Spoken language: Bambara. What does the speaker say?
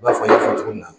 I n'a fɔ n y'a fɔ cogo min na